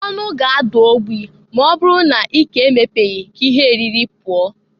Ọnụ ga ada ogbi m'ọ bụrụ na ike emepeghi ka ihe eriri pụọ.